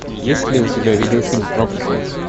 есть ли у тебя видеофильм проклятая